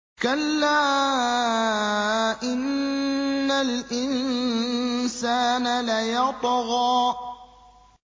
كَلَّا إِنَّ الْإِنسَانَ لَيَطْغَىٰ